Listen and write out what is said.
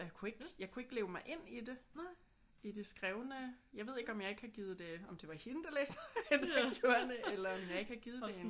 Og jeg kunne ikke jeg kunne ikke leve mig ind i det. I det skrevne. Jeg ved ikke om jeg ikke har givet det om det var hende der læste højt der gjorde det eller om jeg ikke har givet det en